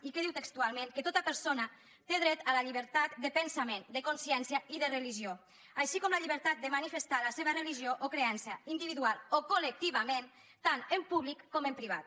i què diu textualment que tota persona té dret a la llibertat de pensament de consciència i de religió així com la llibertat de manifestar la seva religió o creença individualment o col·lectivament tant en públic com en privat